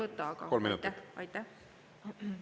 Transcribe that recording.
Ma nii palju küll ei võta, aga aitäh!